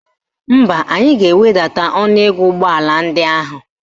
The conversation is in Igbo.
Mba, anyị ga-ewedata ọnụego ụgbọala ndị ahụ.